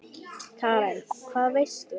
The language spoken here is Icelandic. Karen: Hvað veistu?